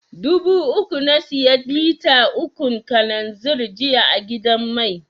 Dubu uku na siya lita ukun kalanzir jiya a gidan mai.